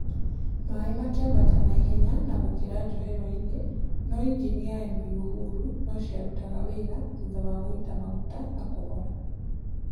Maĩ makĩabata na ihenya na gũkĩra njohero-inĩ no injini ya MV Uhuru no ciarutaga wĩra thutha wa gũita maguta na kũhora